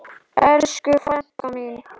Elsku frænka mín.